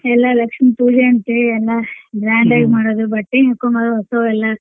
ಎಲ್ಲ ಲಕ್ಷ್ಮೀ ಪೂಜೆ ಅಂತೇ ಎಲ್ಲಾ grand ಆಗೇ ಮಾಡೋಡು ಬಟ್ಟೆ ಹಾಕ್ಕೋಳೋದು ಹೊಸವ್ ಎಲ್ಲಾ.